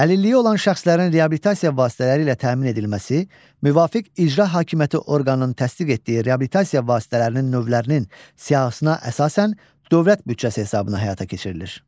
Əlilliyi olan şəxslərin reabilitasiya vasitələri ilə təmin edilməsi, müvafiq icra hakimiyyəti orqanının təsdiq etdiyi reabilitasiya vasitələrinin növlərinin siyahısına əsasən, dövlət büdcəsi hesabına həyata keçirilir.